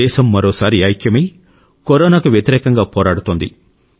దేశం మరోసారి ఐక్యమై కరోనాకు వ్యతిరేకంగా పోరాడుతోంది